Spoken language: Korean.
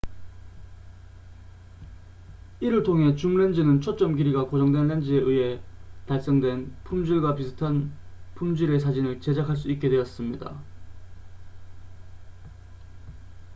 이를 통해 줌 렌즈는 초점 길이가 고정된 렌즈에 의해 달성된 품질과 비슷한 품질의 사진을 제작할 수 있게 되었습니다